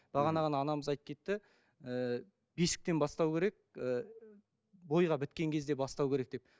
бағана ғана анамыз айтып кетті ііі бесіктен бастау керек ііі бойға біткен кезде бастау керек деп